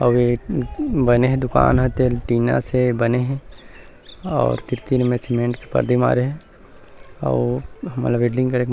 अऊ एक बने हे दुकान ह तेल टीना से बने हे और तीर-तीर मे सीमेंट के पर्दी मारे हे अऊ हमन ला वेल्डिंग करे--